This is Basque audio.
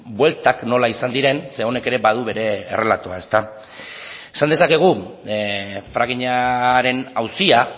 bueltak nola izan diren ze honek ere badu bere errelatoa esa dezakegu frackingaren auzia